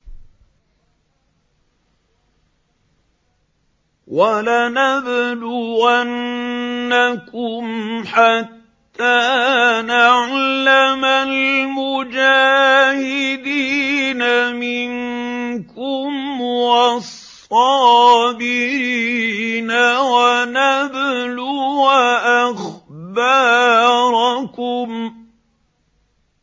وَلَنَبْلُوَنَّكُمْ حَتَّىٰ نَعْلَمَ الْمُجَاهِدِينَ مِنكُمْ وَالصَّابِرِينَ وَنَبْلُوَ أَخْبَارَكُمْ